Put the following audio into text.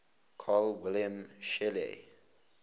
carl wilhelm scheele